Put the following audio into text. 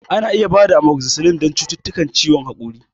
Ana iya ba da Amokzisilin don cututtukan haƙori